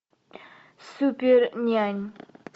супернянь